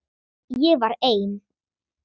Ég var ein.